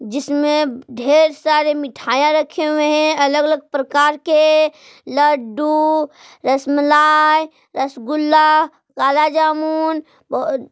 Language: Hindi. जिसमे ढेर सारे मिठाईया रखे हुए हैं अलग अलग प्रकार के लड्डू रसमलाई रसगुल्ला काला जामुन--